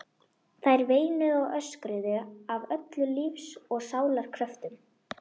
Þær veinuðu og öskruðu af öllum lífs og sálar kröftum.